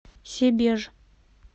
себеж